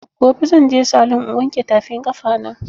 Gobe zan je salun in wanke tafin ƙafa na